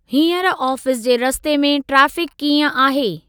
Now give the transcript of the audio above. हींअर आफ़ीस जे रस्ते में ट्रेफ़िक कीअं आहे?